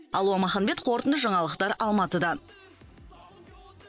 алуа маханбет қорытынды жаңалықтар алматыдан